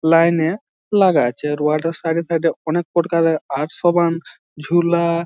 Line -এ লাগা আছে আর ওয়াটার সাইড -এ সাইড -এ অনেক পরকালে আটশোবান ঝুলা।